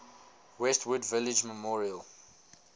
westwood village memorial